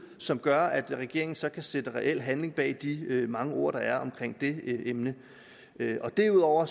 som gør at regeringen så kan sætte reel handling bag de mange ord der er omkring det emne derudover